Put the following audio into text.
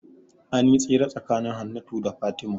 Anyi tsere tsakanin Hannatu da Fatima